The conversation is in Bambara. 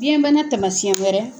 Biyɛnbana taamasiyɛn wɛrɛ